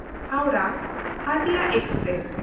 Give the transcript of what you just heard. Howrah Hatia express